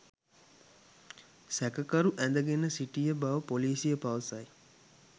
සැකකරු ඇඳගෙන සිටිය බව පොලීසිය පවසයි